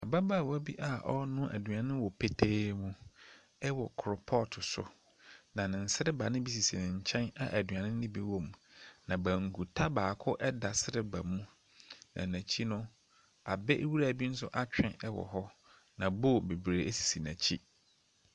Ababaawa bi a ɔɔnoa aduane wɔ petee mu ɛwɔ kropɔt so, na ne nsereba ne bi sisi ne nkyɛn a aduane no bi wɔ mu. Na bankuta baako ɛda sreba mu, na n'akyi no abɛ nwura bi nso atwe ɛwɔ hɔ, na bool bebree esisi n'akyi.